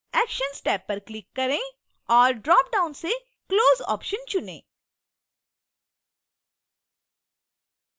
actions tab पर click करें और dropdown से close option चुनें